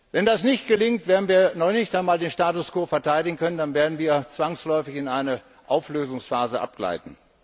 Wenn das nicht gelingt, werden wir noch nicht einmal den Status quo verteidigen können, dann werden wir zwangsläufig in eine Auflösungsphase abgleiten.